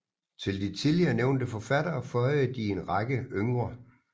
Til de tidligere nævnte forfattere føjede de en række yngre